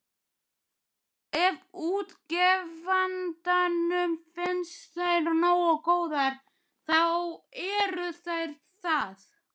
Ef útgefandanum finnst þær nógu góðar, þá eru þær það.